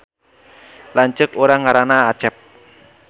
Lanceuk urang ngaranna Acep